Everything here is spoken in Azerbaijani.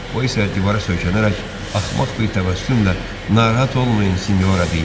O isə divara söykənərək axmaq bir təbəssümlə "Narahat olmayın, sinyora" deyir.